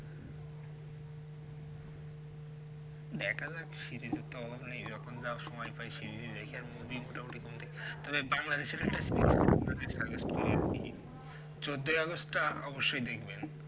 অদেখা যাক series এর তো অভাব নাই যখন যা সময় পাই series দেখি আর movie মোটামুটি ঘুম থেকে তবে Bangladesh চোদ্দই অগাস্ট তা অবশ্যই দেখবেন